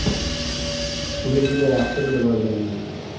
Uni juda yaxshi bilib olganman.